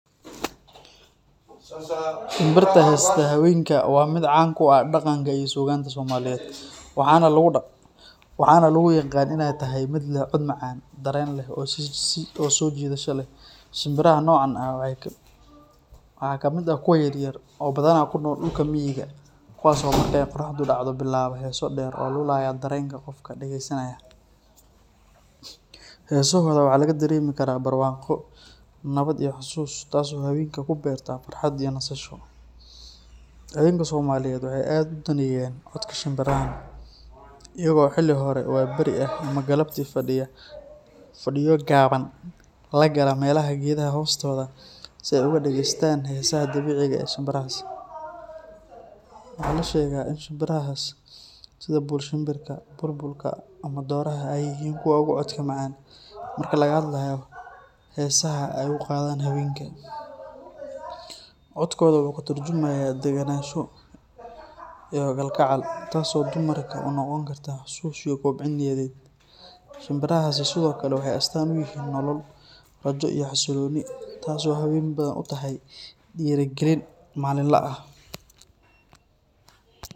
Shimbirta heesta haweenka waa mid caan ku ah dhaqanka iyo suugaanta Soomaaliyeed, waxaana lagu yaqaan in ay tahay mid leh cod macaan, dareen leh oo soo jiidasho leh. Shimbiraha noocan ah waxaa ka mid ah kuwa yaryar oo badanaa ku nool dhulka miyiga ah, kuwaas oo marka ay qorraxdu dhacdo bilaaba heeso dheer oo lulaya dareenka qofka dhagaysanaya. Heesahooda waxaa laga dareemi karaa barwaaqo, nabad iyo xusuus, taas oo haweenka ku beerta farxad iyo nasasho. Haweenka Soomaaliyeed waxay aad u daneeyaan codka shimbirahan, iyaga oo xilli hore waabari ah ama galabtii fadhiyo gaaban la gala meelaha geedaha hoostooda ah si ay uga dhagaystaan heesaha dabiiciga ah ee shimbirahaas. Waxaa la sheegaa in shimbirahaas sida buul-shimbirka, bulbulka ama dhooraha ay yihiin kuwa ugu codka macaan marka laga hadlayo heesaha ay u qaadaan haweenka. Codkooda wuxuu ka tarjumayaa degenaansho iyo kalgacal, taas oo dumarka u noqon karta xasuus iyo kobcin niyadeed. Shimbirahaasi sidoo kale waxay astaan u yihiin nolol, rajo iyo xasillooni taasoo haween badan u tahay dhiirrigelin maalinle ah.